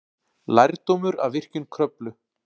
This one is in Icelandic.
Lærdómur af virkjun Kröflu